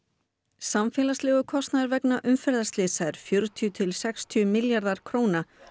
samfélagslegur kostnaður vegna umferðarslysa er fjörutíu til sextíu milljarðar króna